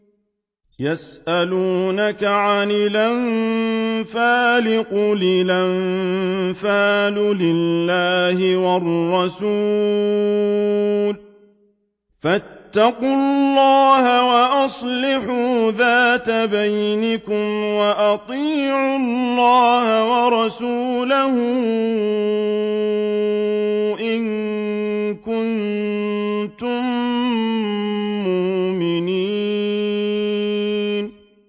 يَسْأَلُونَكَ عَنِ الْأَنفَالِ ۖ قُلِ الْأَنفَالُ لِلَّهِ وَالرَّسُولِ ۖ فَاتَّقُوا اللَّهَ وَأَصْلِحُوا ذَاتَ بَيْنِكُمْ ۖ وَأَطِيعُوا اللَّهَ وَرَسُولَهُ إِن كُنتُم مُّؤْمِنِينَ